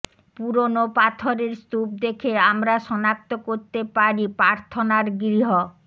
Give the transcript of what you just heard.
পুরোনো পাথরের স্তূপ দেখে আমরা শনাক্ত করতে পারি প্রার্থনার গৃহ